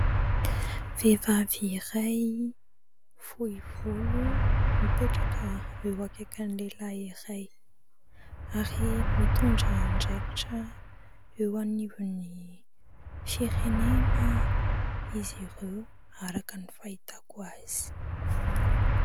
Vehivavy iray fohy volo mipetraka eo akaikin'ny lehilahy iray, ary mitondra andraikitra eo anivon'ny firenena izy ireo araka ny fahitako azy.